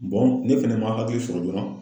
ne fɛnɛ man hakili sɔrɔ joona.